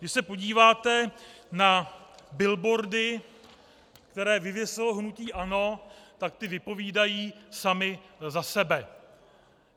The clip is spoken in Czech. Když se podíváte na billboardy, které vyvěsilo hnutí ANO, tak ty vypovídají samy za sebe.